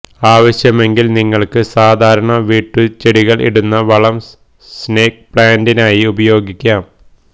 ആവശ്യമെങ്കില് നിങ്ങള്ക്ക് സാധാരണ വീട്ടുചെടികള് ഇടുന്ന വളം സ്നേക്ക് പ്ലാന്റിനായി ഉപയോഗിക്കാം